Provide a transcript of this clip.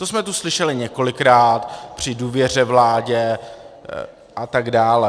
To jsme tu slyšeli několikrát při důvěře vládě, a tak dále.